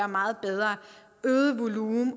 meget bedre øget volumen